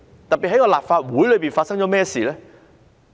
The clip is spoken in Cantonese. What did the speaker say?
特別是立法會內發生了甚麼事呢？